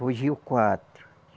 Fugiu quatro.